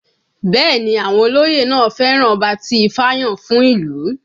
Bẹ́ẹ̀ ni àwọn olóyè náà fẹ́ràn ọba tí ifá yàn fún ìlú